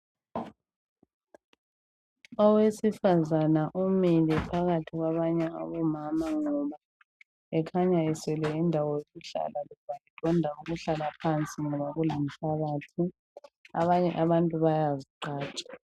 Owesifazana umile phakathi kwabanye abomama ngoba ekhanya eswele indawo yokuhlala edonda ukuhlala phansi ngoba kulenhlabathi abanye abantu bayazigqaja.